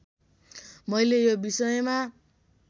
मैले यो विषयमा